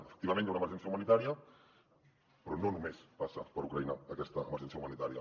efectivament hi ha una emergència humanitària però no només passa per ucraïna aquesta emergència humanitària